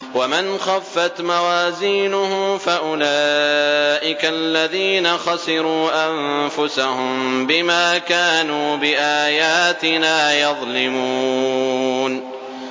وَمَنْ خَفَّتْ مَوَازِينُهُ فَأُولَٰئِكَ الَّذِينَ خَسِرُوا أَنفُسَهُم بِمَا كَانُوا بِآيَاتِنَا يَظْلِمُونَ